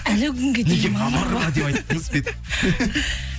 әлі күнге дейін